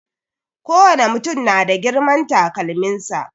Kowane mutum na da girman takalmin sa.